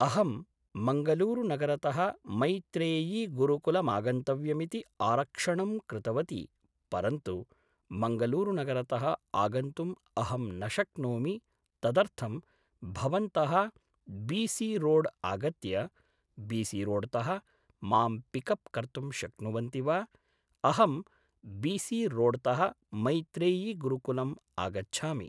अहं मङ्गलूरुनगरतः मैत्रेयीगुरुकुलमागन्तव्यमिति आरक्षणं कृतवती परन्तु मङ्गलूरुनगरतः आगन्तुम् अहं न शक्नोमि तदर्थं भवन्तः बि.सि. रोड् आगत्य बि.सि. रोड्तः मां पिक् अप् कर्तुं शक्नुवन्ति वा अहं बि.सि. रोड्तः मैत्रेयीगुरुकुलम् आगच्छामि